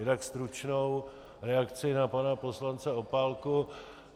Jinak stručnou reakci na pana poslance Opálku.